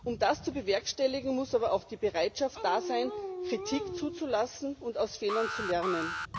Um das zu bewerkstelligen, muss aber auch die Bereitschaft da sein, Kritik zuzulassen und aus Fehlern zu lernen.